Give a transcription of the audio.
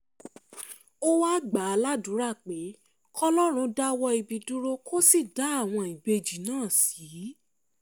ó wáá gbà á látàdúrà pé kọlọ́run dáwọ́ ibi dúró kó sì dá àwọn ìbejì náà sí